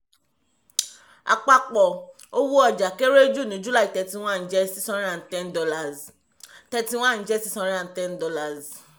àpapọ̀ owó ọjà kéré jù ní july 31 jẹ́ $610. 31 jẹ́ $610.